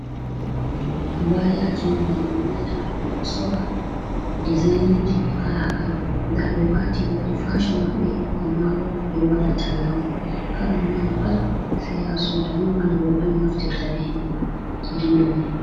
Habayaji on banano onyiata be do sora dezaininji kalakala da be wati be wadi fashion mabbe amma bo be do wada talla kala moyidi pat se ya soda nomali robe on naftirta beman irin doman.